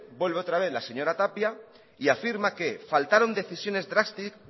vuelve otra vez la señora tapia y afirma que faltaron decisiones